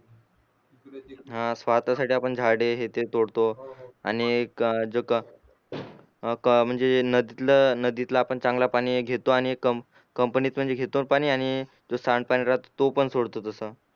हा स्वार्थासाठी आपण झाडे हे ते तोडतो आणि जो क अ क म्हणजे नदीतल नदीतल आपण चांगल पाणी घीडतो आणि कंप कंपनी कंपनीतूंच घेतो आम्ही आणि जो सांडपाणी रफ तो सोडतो तस